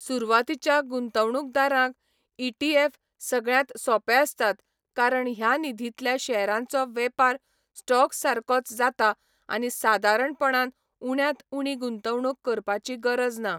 सुरवातीच्या गुंतवणुकदारांक ईटीएफ सगळ्यांत सोपे आसतात कारण ह्या निधींतल्या शेअरांचो वेपार स्टॉक सारकोच जाता आनी सादारणपणान उण्यांत उणी गुंतवणूक करपाची गरज ना.